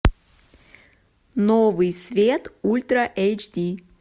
новый свет ультра эйч ди